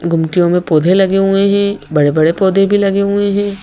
गुमटियों में पौधे लगे हुए हैं बड़े-बड़े पौधे भी लगे हुए हैं।